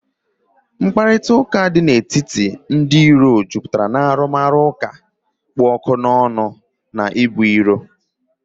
Mkparịta ụka dị n'etiti ndị iro jupụtara na arụmụka kpụ ọkụ n'ọnụ na ibu iro